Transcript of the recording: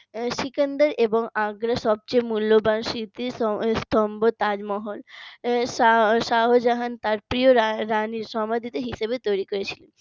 সিকান্দার এবং আগ্রার সবচেয়ে মূল্যবান স্মৃতিস্তম্ভ তাজমহল শাহজাহান তার প্রিয় রানী সমাধি হিসেবে তৈরি করেছিলেন